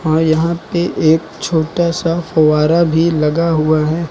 और यहां पे एक छोटा सा फव्वारा भी लगा हुआ है।